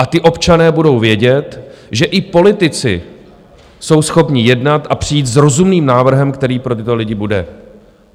A ti občané budou vědět, že i politici jsou schopni jednat a přijít s rozumným návrhem, který pro tyto lidi bude.